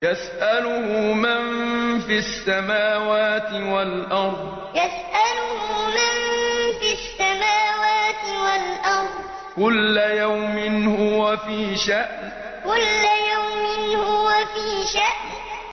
يَسْأَلُهُ مَن فِي السَّمَاوَاتِ وَالْأَرْضِ ۚ كُلَّ يَوْمٍ هُوَ فِي شَأْنٍ يَسْأَلُهُ مَن فِي السَّمَاوَاتِ وَالْأَرْضِ ۚ كُلَّ يَوْمٍ هُوَ فِي شَأْنٍ